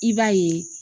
I b'a ye